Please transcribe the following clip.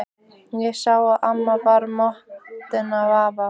Ég sá að amma var montin af afa.